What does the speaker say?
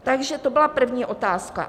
Takže to byla první otázka.